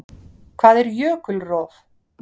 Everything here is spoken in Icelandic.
Hvað er jökulrof?